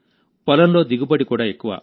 పొలంలో దిగుబడి కూడా ఎక్కువ